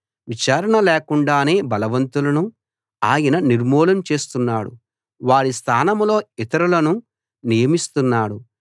విచారణ లేకుండానే బలవంతులను ఆయన నిర్మూలం చేస్తున్నాడు వారి స్థానంలో ఇతరులను నియమిస్తున్నాడు